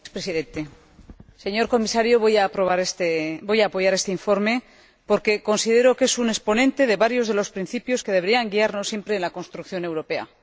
Señor Presidente, señor Comisario, voy a apoyar este informe porque considero que es un exponente de varios de los principios que deberían guiarnos siempre en la construcción europea.